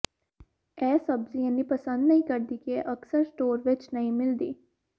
ਇਹ ਸਬਜ਼ੀ ਇੰਨੀ ਪਸੰਦ ਨਹੀਂ ਕਰਦੀ ਕਿ ਇਹ ਅਕਸਰ ਸਟੋਰ ਵਿਚ ਨਹੀਂ ਮਿਲਦੀ